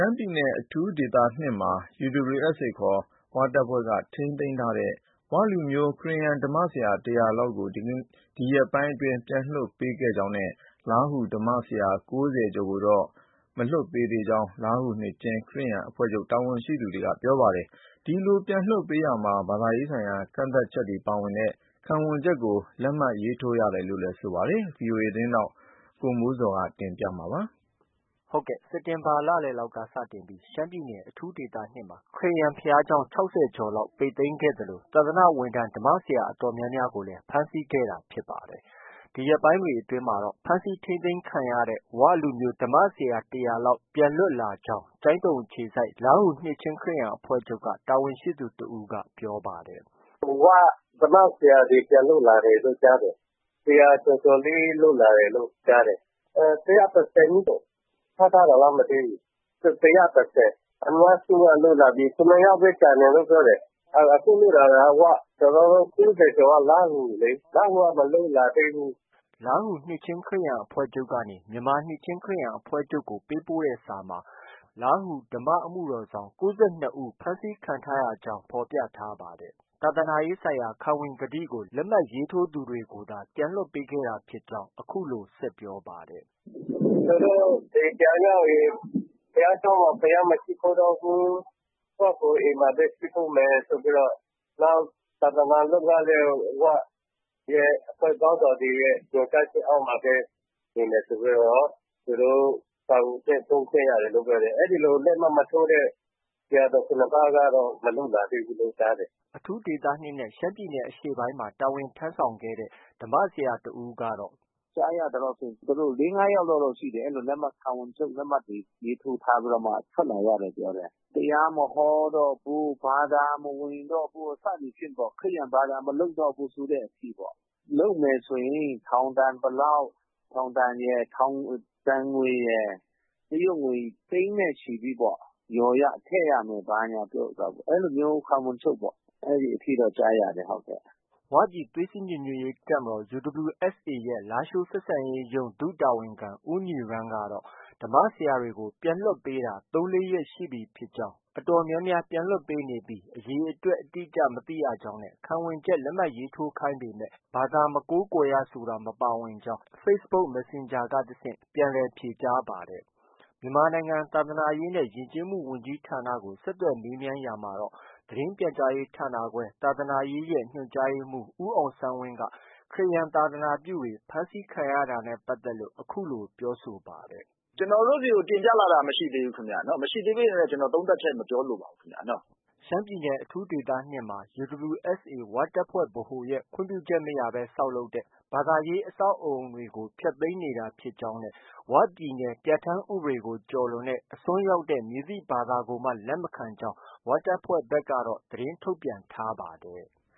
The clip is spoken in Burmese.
မ်းပြည်နယ် အထူးဒေသ၂မှာ UWSA ခေါ် ၀ တပ်ဖွဲ့က ထိန်းသိမ်းထားတဲ့ ဝလူမျိုး ခရစ်ယာန် ဓမ္မဆရာ ၁၀၀လောက်ကို ဒီရက်ပိုင်းအတွင်း ပြန်လွှတ်ပေးခဲ့ကြောင်းနဲ့ လားဟူ ဓမ္မဆရာ ၉၀ ကျော်ကိုတော့ လွှတ်မပေးသေးကြောင်း လားဟူ နှစ်ခြင်း ခရစ်ယာန်အဖွဲ့ချုပ်က တာဝန်ရှိသူက ပြောပါတယ်။ ဒီလို ပြန်လွှတ်ပေးရာမှာ ဘာသာရေးဆိုင်ရာကန့်သတ်ချက်တွေပါဝင်တဲ့ ခံဝန်ချက်ကို လက်မှတ်ထိုးရတယ်လို့လည်း ပြောပါတယ်။ ဒီသတင်းကိုတော့ ဗွီအိုအေမြန်မာပိုင်း သတင်းထောက် ကိုမိုးဇော်က တင်ပြထားပါတယ်။ စက်တင်ဘာလ လည်လောက်က စတင်ပြီး ရှမ်းပြည်နယ် အထူးဒေသ၂မှာ ခရစ်ယာန်ဘုရားကျောင်း ၆၀ကျော်လောက် ပိတ်သိမ်းခဲ့သလို သာသနာဝန်ထမ်း ဓမ္မဆရာအတော်များများကိုလည်း ဖမ်းဆီးထိန်းသိမ်းခဲ့ ပါတယ်။ ဒီရက်ပိုင်းတွေအတွင်းမှာတော့ ဖမ်းဆီးထိန်းသိမ်းခံရတဲ့ ဝလူမျိုး ဓမ္မဆရာ ၁၀၀လောက် ပြန်လွတ်လာကြောင်း ကျိုင်းတုံအခြေစိုက် လားဟူနှစ်ခြင်းခရစ်ယာန် အဖွဲ့ချုပ်က တာဝန်ရှိသူ တဦးက အခုလို ပြောပါတယ်။ “၀ ဓမ္မဆရာတွေ ပြန်လွတ်လာတယ်လို့ ကြားတယ်။ ၁၀၀ကျော်ကျော်လေး လွတ်လာတယ်လို့ ကြားတယ်။ အခုလွတ်တာက ၀ ။ ၁၁၀ဦး ဖမ်းထားတာလား မသိဘူး။ ၁၁၀။ အများစုက လွတ်လာပြီ။ ၇ယောက်ပဲ ကျန်တယ်လို့ ကြားတယ်။ အခုလွတ်လာတာက ၀ ။ကျနော်တို့ ၉၀ကျော်က လားဟူလေ။ လားဟူက မလွတ်လာသေးဘူး။” လားဟူနှစ်ခြင်းခရစ်ယာန် အဖွဲ့ချုပ်ကနေ မြန်မာနှစ်ခြင်းခရစ်ယာန်အဖွဲ့ချုပ်ကို ပေးပို့တဲ့စာမှာ ဓမ္မအမှုတော်ဆောင် ၉၂ဦး ကို ဖမ်းဆီးခံထားရတာကြောင်း ဖော်ပြ ထားပါတယ်။ ဘာသာရေးဆိုင်ရာ ခံဝန်ကတိကို လက်မှတ်ရေးထိုးသူတွေကိုသာ လွှတ်ပေးခဲ့တာဖြစ်ကြောင်းလည်း အခုလို ဆက်ပြောပါတယ်။ “ သူတို့ အိမ်ပြန်ရောက်ရင် ဘုရားကျောင်းမှာ ဘုရားမရှိခိုးတော့ဘူး။ ကိုယ့်ဟာကိုယ် အိမ်မှာဘဲ ရှိခိုးမယ်ဆိုပြီးတော့၊ နောက် သာသနာလုပ်ငန်းတွေကို ဝရဲ့ အဖွဲ့ခေါင်းဆောင်တွေရဲ့ ညွှန်ကြားချက်အောက်မှာပဲ နေမယ်ဆိုပြီးတော့ သူတို့ ခံဝန်ချက်ထိုးခဲ့ရတယ်လို့ ပြောတယ်။ အဲလို လက်မှတ်မထိုးတဲ့ ဆရာတော် ၇ပါးကတော့ မလွတ်လာသေးဘူးလို့ ကြားတယ်။” အထူးဒေသ၂နဲ့ ရှမ်းပြည်နယ်အရှေ့ပိုင်းမှာ တာဝန်ထမ်းဆောင်ခဲ့တဲ့ ဓမ္မဆရာတဦးကတော့ - “ ကြားရသလောက်တော့ ၄- ၅ ယောက်လောက်တော့ ရှိတယ်။ ဒီလို ခံဝန်ချုပ်လက်မှတ်ထိုးပြီးတော့မှ ထွက်လာရတယ်ပြောတယ်။ တရားမဟောတော့ဘူး။ ဘာသာမဝင်တော့ဘူး စသည်ဖြင့်ပေါ့။ ခရစ်ယာန်ဘာသာမလုပ်တော့ဘူးဆိုတဲ့အထိပေါ့။ လုပ်မယ်ဆိုရင် ထောင်ဒဏ်ဘယ်လောက်ပေါ့။ ထောင်ဒဏ်ရယ်၊ ဒဏ်ငွေရယ်။ တရုတ်ငွေ သိန်းနဲ့ချီပြီးပေါ့။ လျော်ရ ထည့်ရမယ် ဘာညာပြောတာပေါ့။ အဲလိုမျိုး အဲလိုမျိုးခံဝန်ချုပ်ပေါ့။ အဲဒီအထိတော့ ကြားရတယ်။” ဝပြည်သွေးစည်းညီညွတ်ရေးတပ်မတော် UWSA ရဲ့ လားရှိုးဆက်ဆံရေးရုံး ဒုတာဝန်ခံ ဦးညီရန်းကတော့ ဓမ္မဆရာတွေကို ပြန်လွှတ်ပေးတာ ၃-၄ရက်ရှိပြီဖြစ်ကြောင်း၊ အတော်များများလွှတ်ပေးနေပေမဲ့ အရေအတွက် အတိအကျမသိရကြောင်း နဲ့ ခံဝန်ချက်လက်မှတ်ထိုးခိုင်းပေမဲ့ ဘာသာမကိုးကွယ်ရဆိုတာမပါဝင်ကြောင်း Facebook messenger က တဆင့်ဖြေကြားပါတယ်။ မြန်မာနိုင်ငံသာသနာရေးနဲ့ ယဉ်ကျေးမှုဝန်ကြီးဌာနကို ဆက်သွယ်မေးမြန်းရာမှာတော့ သတင်းပြန်ကြားရေးဌာနခွဲ ညွှန်ကြားရေးမှုး ဦးအောင်ဆန်းဝင်းက ခရစ်ယာန်သာသနာပြုတွေ ဖမ်းဆီးခံရတာနဲ့ပတ်သက်ပြီး အခုလို ပြောဆိုပါတယ်။ “ ကျနော်တို့ ဆီကို တင်ပြလာတာမရှိသေးဘူးခင်ဗျ။ မရှိသေးဘဲနဲ့ ကျနော် သုံးသပ်ချက် မပြောလိုပါဘူးခင်ဗျ။ ” ရှမ်းပြည်နယ် အထူးဒေသ ၂မှာ UWSA ဝတပ်ဖွဲ့ ဗဟိုရဲ့ ခွင့်ပြုချက်မရဘဲ ဆောက်လုပ်တဲ့ ဘာသာရေးအဆောက်အဦးတွေကို ဖျက်သိမ်းနေတာဖြစ်ကြောင်း၊ ဝပြည်နယ် ပြဌာန်းဥပဒေကို ကျော်လွန်တဲ့ အစွန်းရောက်တဲ့ မည်သည့် ဘာသာကိုမှ လက်မခံကြောင်း ဝတပ်ဖွဲ့ဘက်ကတော့ သတင်းထုတ်ပြန်ထားပါတယ်။